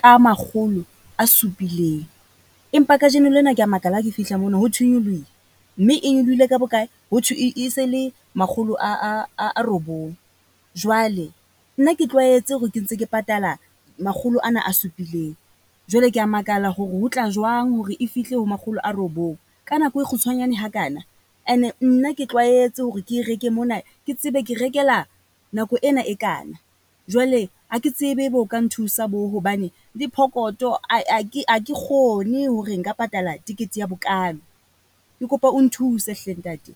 ka makgolo a supileng, empa kajeno lena ke ya makala ha ke fihla mono ho thwe e nyolohile, mme e nyolohile ka bo kae? Ho thwe e se le makgolo a robong. Jwale nna ke tlwaetse hore ke ntse ke patala makgolo ana a supileng. Jwale ke ya makala hore ho tla jwang hore e fihle ho makgolo a robong. Ka nako e kgutshwanyane ha kana, ene nna ke tlwaetse hore ke e reke mona ke tsebe ke rekela nako ena e kana. Jwale ha ke tsebe e be o ka nthusa bo, hobane le pokotho ae a ke aa ke kgone hore nka patala tekete ya bokalo. Ke kopa o nthuse hle ntate.